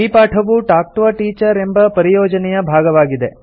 ಈ ಪಾಠವು talk to a teacher ಎಂಬ ಪರಿಯೋಜನೆಯ ಭಾಗವಾಗಿದೆ